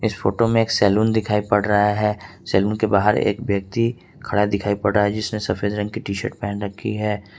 इस फोटो में एक सैलून दिखाई पड़ रहा है सैलून के बाहर एक व्यक्ति खड़ा दिखाई पड़ रहा है जिसने सफेद रंग की टी शर्ट पहन रखी है।